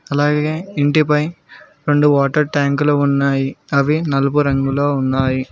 అలాగే ఇంటిపై రెండు వాటర్ ట్యాంక్ లు ఉన్నాయి అవి నలుపు రంగులో ఉన్నాయి.